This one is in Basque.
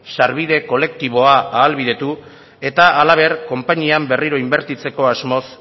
sarbide kolektiboa ahalbidetu eta halaber konpainian berriro inbertitzeko asmoz